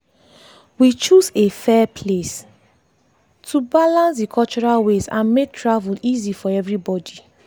we choose a fair place to balance the cultural ways and make travel easy for everybody.